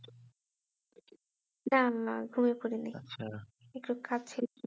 না না ঘুমিয়ে পড়ি নি আচ্ছা একটু খাচ্ছিলাম